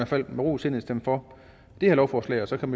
fald med ro i sindet stemme for det her lovforslag og så kan